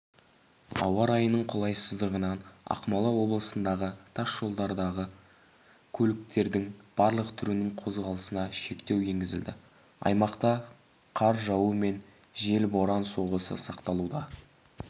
ауа райының қолайсыздығынан ақмола облысындағы тас жолдардағы көліктердің барлық түрінің қозғалысына шектеу енгізілді аймақта қар жауу мен жел боран соғысы сақталуда